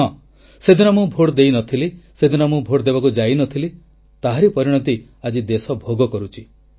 ହଁ ସେଦିନ ମୁଁ ଭୋଟ ଦେଇ ନଥିଲି ସେଦିନ ମୁଁ ଭୋଟ ଦେବାକୁ ଯାଇ ନଥିଲି ତାହାରି ପରିଣତି ଆଜି ଦେଶ ଭୋଗ କରୁଛି